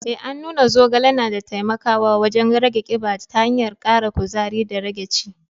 Eh, an nuna zogale na taimakawa wajen rage kiba ta hanyar kara kuzari da rage ci.